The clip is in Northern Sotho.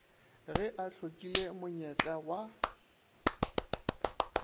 ge a hlokile monyetla wa